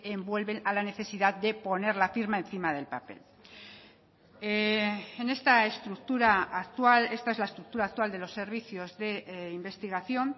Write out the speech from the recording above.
envuelven a la necesidad de poner la firma encima del papel en esta estructura actual esta es la estructura actual de los servicios de investigación